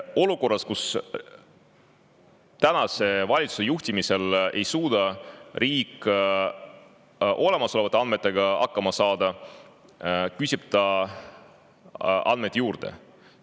Olukorras, kus tänase valitsuse juhtimisel ei suuda riik olemasolevate andmetega hakkama saada, küsib ta andmeid juurde.